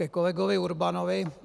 Ke kolegovi Urbanovi.